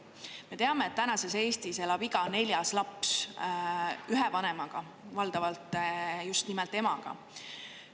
Me teame, et tänases Eestis elab iga neljas laps ühe vanemaga, valdavalt just nimelt emaga.